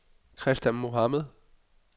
Christa Mohamed